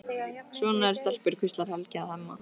Svona eru stelpur, hvíslar Helgi að Hemma.